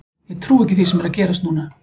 Ég trúi ekki því sem er að gerast núna.